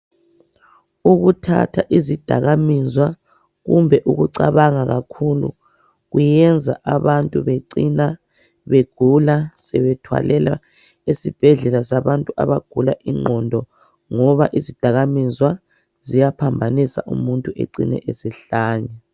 Ukuthatha izidakamizwa, kumbe ukucabanga kakhulu kwenza abantu becine begula sebethwalelwa esibhedlela abantu abagula ingqondo, ngoba izidakamizwa ziyaphambanisa umuntu egcine esehlanya.